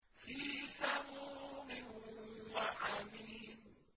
فِي سَمُومٍ وَحَمِيمٍ